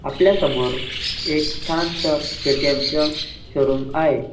आपल्या समोर एक छानस के.टी.एम. चा शोरूम आहे.